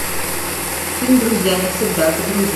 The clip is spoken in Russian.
фильм друзья навсегда загрузи